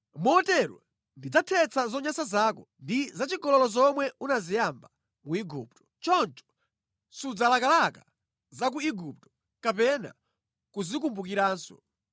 Motero ndidzathetsa zonyansa zako ndi zachigololo zomwe unaziyamba ku Igupto. Choncho sudzalakalaka za ku Igupto kapena kuzikumbukiranso.